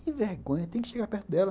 Que vergonha, tem que chegar perto dela.